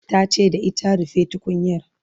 ta ce da ita "rufe tukunyar"